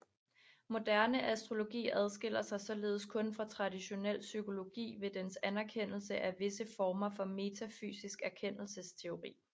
Moderne astrologi adskiller sig således kun fra traditionel psykologi ved dens anerkendelse af visse former for metafysisk erkendelsesteori